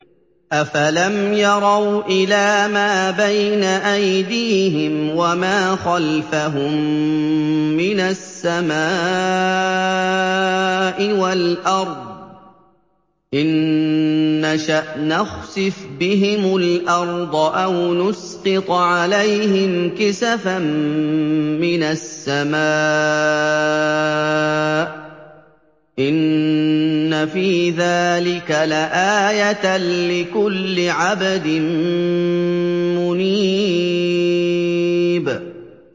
أَفَلَمْ يَرَوْا إِلَىٰ مَا بَيْنَ أَيْدِيهِمْ وَمَا خَلْفَهُم مِّنَ السَّمَاءِ وَالْأَرْضِ ۚ إِن نَّشَأْ نَخْسِفْ بِهِمُ الْأَرْضَ أَوْ نُسْقِطْ عَلَيْهِمْ كِسَفًا مِّنَ السَّمَاءِ ۚ إِنَّ فِي ذَٰلِكَ لَآيَةً لِّكُلِّ عَبْدٍ مُّنِيبٍ